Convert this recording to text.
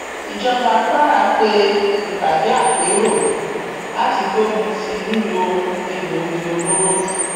ìjọba kwara pe ìpàdé àpérò láti gbógun ti lílo egbòogi olóró